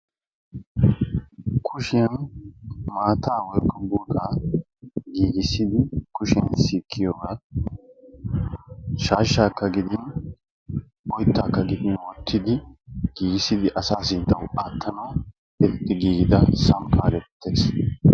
kushshiyan maatta woykko golla giigissidi kushshiyan sikiyogga gidishin shaashaa woykko oytta wottidi assa sinttaw aattanaw maadiya samppa geteteessi.